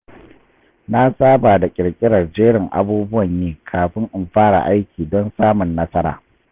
Na saba da ƙirƙirar jerin abubuwan yi kafin in fara aiki don samun nasara.